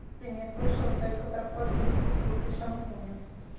ты меня слышала только про фотку с бутылкой шампуня